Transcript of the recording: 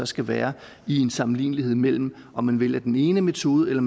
skal være i en sammenlignelighed mellem om man vælger den ene metode